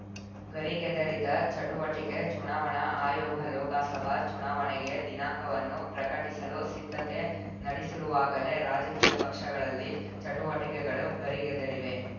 ಗರಿಗೆದರಿದ ಚಟುವಟಿಕೆ ಚುನಾವಣಾ ಆಯೋಗ ಲೋಕಸಭಾ ಚುನಾವಣೆಗೆ ದಿನಾಂಕಗಳನ್ನು ಪ್ರಕಟಿಸಲು ಸಿದ್ಧತೆ ನಡೆಸಿರುವಾಗಲೇ ರಾಜಕೀಯ ಪಕ್ಷಗಳಲ್ಲಿ ಚಟುವಟಿಕೆಗಳು ಗರಿಗೆದರಿವೆ